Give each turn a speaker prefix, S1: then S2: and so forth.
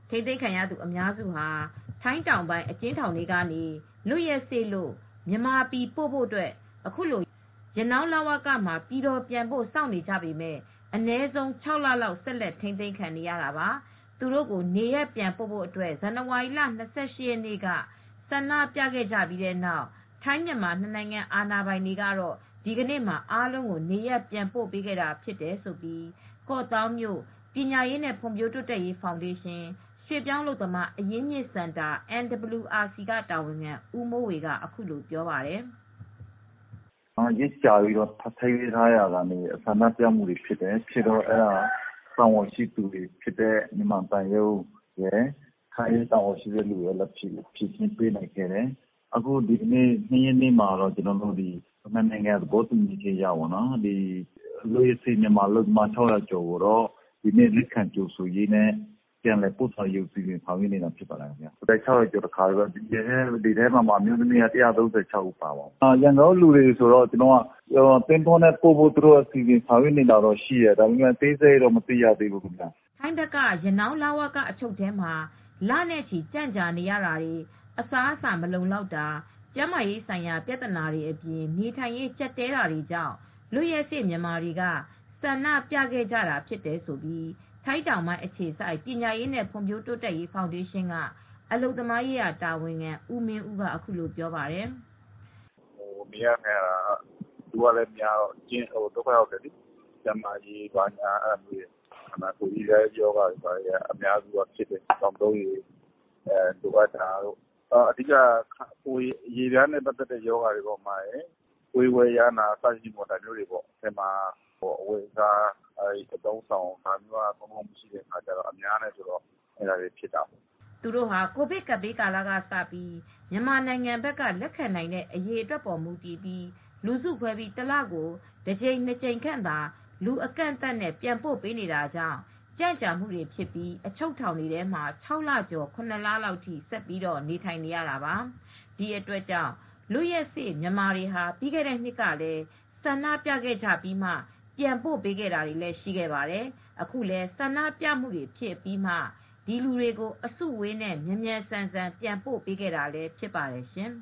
S1: ထိန်းသိမ်းခံ အများစုဟာ ထိုင်းတောင်ပိုင်း အကျဉ်းထောင်တွေကနေ လွတ်ရက်စေ့လို့ မြန်မာပြည်ပို့ဖို့ အခုလို ရနောင်း လဝကမှာ ပြည်တော်ပြန်ဖို့ စောင့်နေကြပေမယ့် အနည်းဆုံး ၆ လဆက်လက် ထိန်းသိမ်းခံနေရတာပါ။ သူတို့ကို နေရပ်ပြန်ပို့ဖို့အတွက် ဇန်နဝါရီလ ၂၈ ရက်နေ့မှာ ဆန္ဒပြခဲ့ကြပြီးတဲ့နောက် ထိုင်းမြန်မာ နှစ်နိုင်ငံအာဏာပိုင်တွေက သူတို့ အားလုံးကို နေရပ်ပြန်ပို့ ပေးခဲ့တာဖြစ်တယ်လို့ ကော့သောင်းမြို့ပညာရေးနဲ့ ဖွံဖြိုးတိုးတက်ရေး ဖောင်ဒေးရှင်း ရွှေ့ပြောင်းအလုပ်သမား အရင်းမြစ်စင်တာ တာဝန်ခံ ဦးမိုးဝေက အခုလို ပြောပါတယ်
S2: ။ " ရက်ကြာပြီး ထိန်းသိမ်းထားရာကနေ ဆန္ဒပြမူတွေဖြစ်တယ်၊ အဲဒီတော့ တာဝန်ရှိသူတွေဖြစ်တဲ့ မြန်မာသံရုံးနဲ့ ထိုင်းတာဝန်ရှိသူတွေလာပြီး ဖြေရှင်းပေးနိုင်ခဲ့တယ်၊ ဒီနေ့ ဖေဖေါ်ဝါရီ ၂ ရက်နေ့မှာတော့ လွတ်ရက်စေ့တဲ့ မြန်မာနိုင်ငံသား ၆၀၀ ကျော်ကို ပြန်လည်ကြိုဆိုရေးနဲ့ပို့ဆောင်တဲ့ အစီစဉ်တွေကို ဆောင်ရွက်နေတာဖြစ်ပါတယ်၊ လူ ၆၀၀ ကျော်ကို တခါတည်း ပို့တယ် အဲဒီထဲမှာ အမျိုးသမီးက ၁၃၆ ယောက်ပါပါတယ်၊ ရန်ကုန်က လူတွေကိုတော့ သင်္ဘောနဲ့ ပို့ဆောင်ဖို့အစီစဉ်ရှိတယ် အသေးစိတ်တော့ မသိရသေးဘူး။
S1: " ထိုင်းဘက်က ရနောင်းလဝက အချုပ်ထဲမှာ လနဲ့ချီ ကြန့်ကြာနေရတာတွေ အစားအစား မလုံလောက်တာ ကျန်းမာရေးဆိုင်ရာ ပြဿနာတွေအပြင် နေထိုင်းရေးကျပ်တည်းတာတွေကြောင့် လွတ်ရက်စေ့မြန်မာတွေက ဆန္ဒပြခဲ့ကြတာဖြစ်တယ်လို့ ထိုင်းတောင်ပိုင်းအခြေစိုက် ပညာရေးနဲ့ ဖွံဖြိုးတိုးတက်ရေး ဖောင်ဒေးရှင်းက အလုပ်သမားရေးရာတာဝန်ခံ ဦးမင်းဦးကလည်း ပြောပြပါတယ်
S3: ။ " နေရထိုင်ရတာက လူကလည်းများတော့ ဒုက္ခရောက်တယ်လေ၊ ကျန်းမာရေးက အရေပြားရောဂါတွေ သောက်သုံးရေ လိုအပ်တာတွေရှိတယ်၊ အဓိကတော့ အရေပြားနဲ့ ပတ်သက်တဲ့ရောဂါတွေ ပွေးဝဲယားနာ။ အထဲမှာ အဝတ်အစားမလုံလောက်တာ အများနဲ့နေရတာတွေ ဆိုတော့ အဲဒီရောဂါတွေလည်းဖြစ်ကြတယ်။
S1: " သူတို့ဟာ ကိုဗစ်ကပ်ဘေးကာလကစပြီး မြန်မာဘက်က လက်ခံနိုင်တဲ့ အရေအတွက်ပေါ်မူတည်ပြီး လူစုခွဲကာ တလကို တကြိမ် ၂ ကြိမ်ခန့်သာ လူအကန့်အသတ်နဲ့ ပြန်ပို့ပေးနေတာကြောင့် ကြန့်ကြာမူတွေဖြစ်ပြီး အချုပ်ထောင်ထဲမှာ ၆ လကျော် ၇ လလောက်အထိ ဆက်ပြီး နေထိုင်နေရသူတွေပါ။ ဒီအတွက်ကြောင့် လွတ်ရက်စေ့မြန်မာတွေဟာ ပြီးခဲ့တဲ့နှစ်ကလည်း ဆန္ဒပြခဲ့ကြပြီးမှ ပြန်ပို့ပေးတာတွေ ရှိခဲ့ပါတယ်။ အခုလည်း ဆန္ဒပြတာတွေဖြစ်ပြီးမှ ဒီလူတွေကို အစုအဝေးနဲ့မြန်မြန်ဆန်ဆန် ပြန်ပို့ပေးခဲ့တာလည်း ဖြစ်ပါတယ်ရှင်